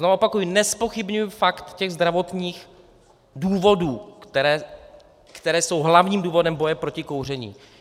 Znovu opakuji, nezpochybňuji fakt těch zdravotních důvodů, které jsou hlavním důvodem boje proti kouření.